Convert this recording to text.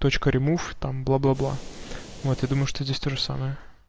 точка ремув там бла-бла-бла вот я думаешь здесь тоже самое